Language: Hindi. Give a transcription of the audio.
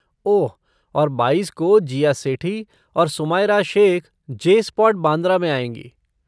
ओह, और बाईस को, जीया सेठी और सुमायरा शेख जे स्पॉट बांद्रा में आएँगी।